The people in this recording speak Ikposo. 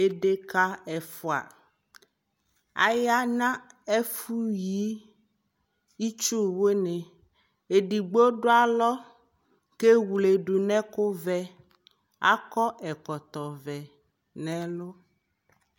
edeka ɛfua, aya no ɛfo yi itsuwo ni, edigbo do alɔ ko ewle do no ɛko vɛ akɔ ɛkɔtɔ vɛ no ɛlu